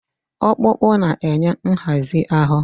Ọkpụkpụ na-enye nhazi ahụ.